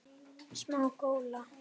Smá gola.